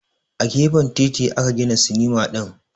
A gefen titi aka gina sinima din